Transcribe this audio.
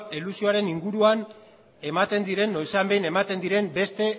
elusioaren inguruan noizean behin ematen diren beste